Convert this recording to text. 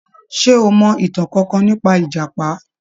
Ṣé o mọ ìtàn kankan nípa ìjàpá?